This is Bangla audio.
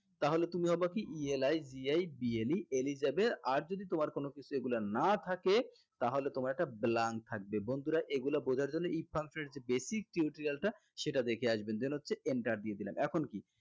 তাহলে তুমি হবা কি ELIGIBLE eligible আর যদি তোমার কোনো কিছু এগুলা না থাকে তাহলে তোমার এটা blank থাকবে বন্ধুরা এগুলা বোঝার জন্য basic if function এর যে basic tutorial টা সেটা দেখে আসবেন then হচ্ছে enter দিয়ে দিলাম এখন কি